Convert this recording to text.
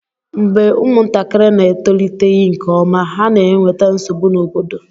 mgbe ụmụntakịrị na-etoliteghị nke ọma, ha na-enweta nsogbu n'obodo